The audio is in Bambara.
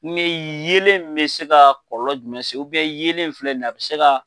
Kumi yeelen bɛ se ka kɔlɔlɔ jumɛn se yeelen in filɛ in ye a bɛ se ka.